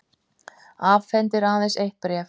Afhendir aðeins eitt bréf